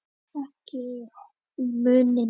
Ekki í munninum.